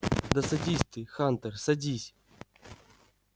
да садись ты хантер садись